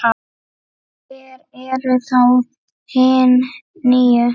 Hver eru þá hin níu?